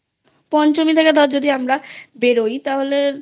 পঞ্চমী থেকে ধর আমরা বেরোই তাহলে